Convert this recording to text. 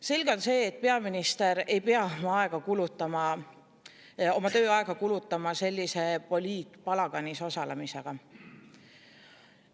Selge on see, et peaminister ei pea kulutama oma tööaega sellises poliitpalaganis osalemisele.